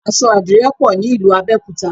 Aṣọ adìrẹ pọ̀ ní ìlú Abẹ́òkúta